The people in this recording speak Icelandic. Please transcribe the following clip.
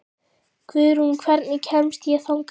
Guðrún, hvernig kemst ég þangað?